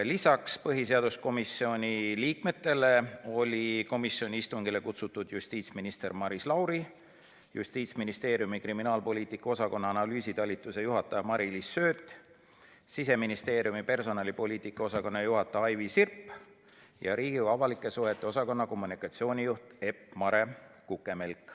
Peale põhiseaduskomisjoni liikmete olid istungile kutsutud ka justiitsminister Maris Lauri, Justiitsministeeriumi kriminaalpoliitika osakonna analüüsitalituse juhataja Mari-Liis Sööt, Siseministeeriumi personalipoliitika osakonna juhataja Aivi Sirp ja Riigikogu avalike suhete osakonna kommunikatsioonijuht Epp-Mare Kukemelk.